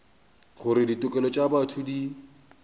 gore ditokelo tša botho di